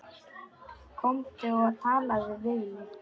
Komdu og talaðu við mig